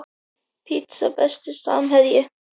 Pizza Besti samherji?